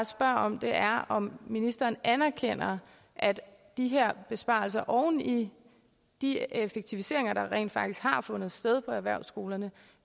spørger om er bare om ministeren anerkender at de her besparelser oven i de effektiviseringer der rent faktisk har fundet sted på erhvervsskolerne